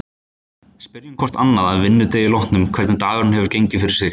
Spyrjum hvort annað að vinnudegi loknum hvernig dagurinn hafi gengið fyrir sig.